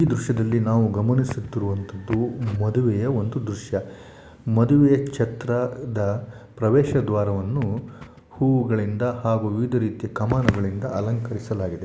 ಈ ದೃಶ್ಯದಲ್ಲಿ ನಾವು ಗಮನಿಸುವಂತಹುದು ಮದುವೆಯ ಒಂದು ದೃಶ್ಯ. ಮದುವೆ ಛತ್ರದ ಪ್ರವೇಶ ದ್ವಾರವನ್ನು ಹೂವುಗಳಿಂದ ಹಾಗೂ ವಿವಿಧ ರೀತಿಯ ಕಮಾನುಗಳಿಂದ ಅಲಂಕರಿಸಲಾಗಿದೆ.